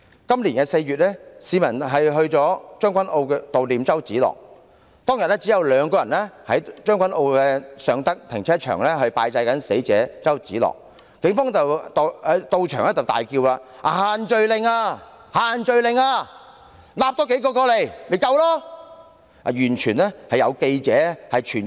今年4月，市民在將軍澳悼念周梓樂，當時只有2人在將軍澳尚德停車場拜祭死者周梓樂，警方到場大叫違反限聚令，並稱"多抓數人過來不就夠了嗎？